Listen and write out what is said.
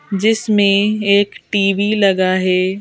जिसमें एक टी_वी लगा है।